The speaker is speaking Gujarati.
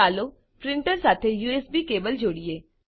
ચાલો પ્રીંટર સાથે યુએસબી કેબલ જોડીએ